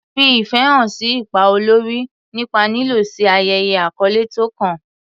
Fi ìfẹ́ hàn sí ipa olórí nípa lílọ sí ayẹyẹ àkọ́lé tó kàn.